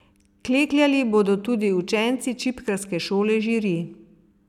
Klekljali bodo tudi učenci Čipkarske šole Žiri.